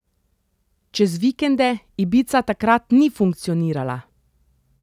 Čez vikende Ibiza takrat ni funkcionirala.